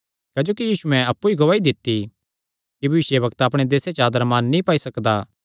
क्जोकि यीशुयैं अप्पु ई गवाही दित्ती कि भविष्यवक्ता अपणे देसे च आदर मान नीं पाई सकदा